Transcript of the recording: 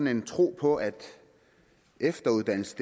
en tro på at efteruddannelse